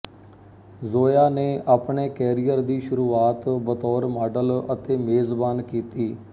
ਜ਼ੋਯਾ ਨੇ ਆਪਣੇ ਕੈਰੀਅਰ ਦੀ ਸ਼ੁਰੂਆਤ ਬਤੌਰ ਮਾਡਲ ਅਤੇ ਮੇਜ਼ਬਾਨ ਕੀਤੀ